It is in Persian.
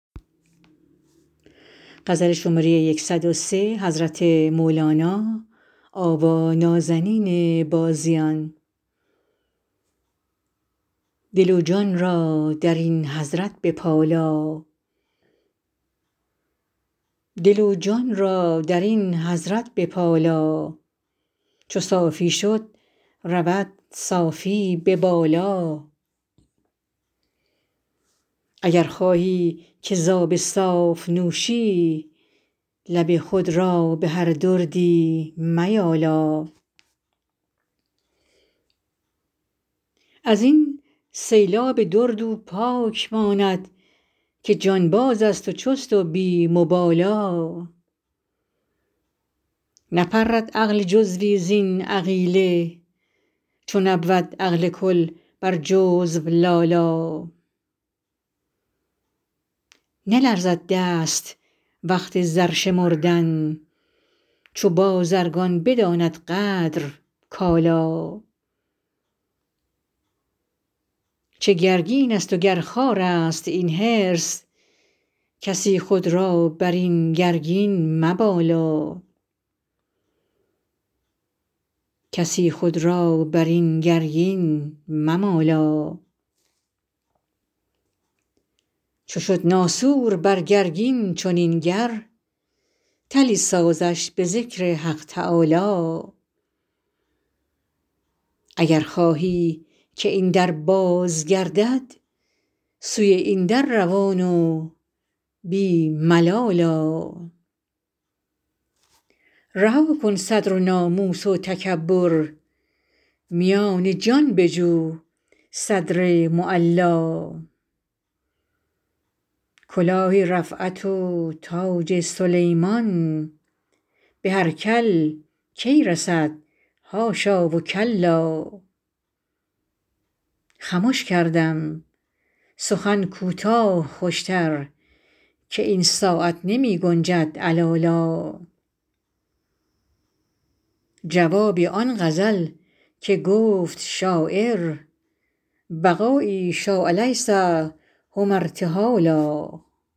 دل و جان را در این حضرت بپالا چو صافی شد رود صافی به بالا اگر خواهی که ز آب صاف نوشی لب خود را به هر دردی میالا از این سیلاب درد او پاک ماند که جانبازست و چست و بی مبالا نپرد عقل جزوی زین عقیله چو نبود عقل کل بر جزو لالا نلرزد دست وقت زر شمردن چو بازرگان بداند قدر کالا چه گرگینست وگر خارست این حرص کسی خود را بر این گرگین ممالا چو شد ناسور بر گرگین چنین گر طلی سازش به ذکر حق تعالا اگر خواهی که این در باز گردد سوی این در روان و بی ملال آ رها کن صدر و ناموس و تکبر میان جان بجو صدر معلا کلاه رفعت و تاج سلیمان به هر کل کی رسد حاشا و کلا خمش کردم سخن کوتاه خوشتر که این ساعت نمی گنجد علالا جواب آن غزل که گفت شاعر بقایی شاء لیس هم ارتحالا